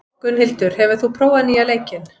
Gunnhildur, hefur þú prófað nýja leikinn?